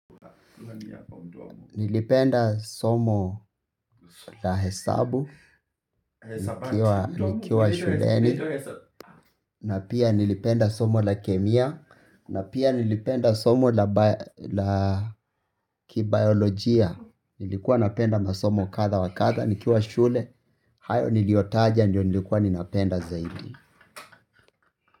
Nilipenda somo la hesabu, nikiwa shuleni, na pia nilipenda somo la kemia, na pia nilipenda somo la kibayolojia, nilikuwa napenda masomo kadha wakadha, nikiwa shule, hayo niliotaja, ndio nilikuwa ninapenda zaidi.